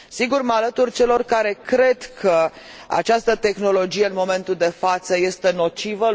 Sigur, mă alătur celor care cred că această tehnologie, în momentul de față, este nocivă.